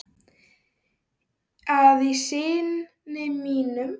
að í syni mínum